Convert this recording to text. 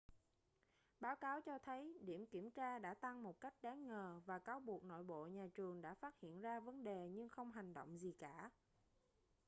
báo cáo cho thấy điểm kiểm tra đã tăng một cách đáng ngờ và cáo buộc nội bộ nhà trường đã phát hiện ra vấn đề nhưng không hành động gì cả